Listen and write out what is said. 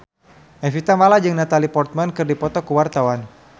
Evie Tamala jeung Natalie Portman keur dipoto ku wartawan